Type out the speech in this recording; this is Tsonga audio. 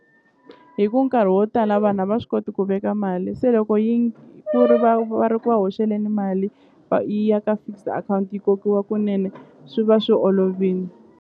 Hi ku nkarhi wo tala vanhu a va swi koti ku veka mali se loko yi ku ri va va ri ku va hoxelani mali yi ya ka fixed akhawunti yi kokiwa kunene swi va swi .